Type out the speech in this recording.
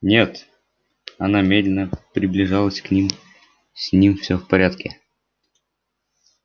нет она медленно приближалась к ним с ним всё в порядке